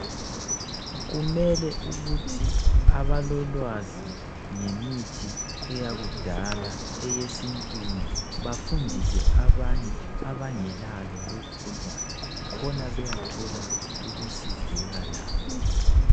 Kumele ukuthi abalolwazi ngemithi eyakudala eyesintwini bafundise abanye abangelalo lolo lwazi khona beyathola ukusizeka labo.